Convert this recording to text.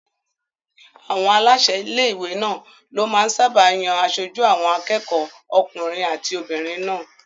Àwọn aláṣẹ ilé-ìwé náà ló máa ń sáábà yan aṣojú àwọn akẹ́kọ̀ọ́ okùnrin àti obìnrin náà